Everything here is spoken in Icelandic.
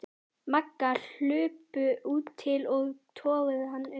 Magga hlupu til og toguðu hana upp.